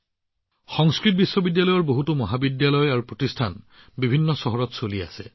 সংস্কৃত বিশ্ববিদ্যালয়ৰ বহু মহাবিদ্যালয় আৰু প্ৰতিষ্ঠানো বিভিন্ন চহৰত চলি আছে